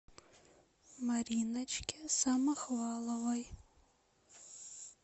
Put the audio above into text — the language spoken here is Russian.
мариночке самохваловой